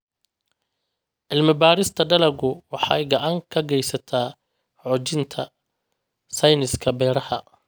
Cilmi-baarista dalaggu waxay gacan ka geysataa xoojinta sayniska beeraha.